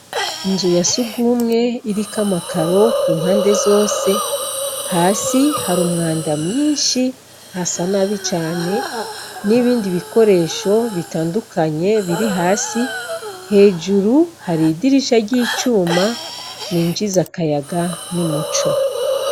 Inzu yasugumw' irik' amakar' impande zose, hasi har' umwanda mwinshi hasa nabi cane, n' ibindi bikoresho bitandukanye birihasi, hejuru har' idirisha ry' icuma ryinjiz' akayaga n' umuco.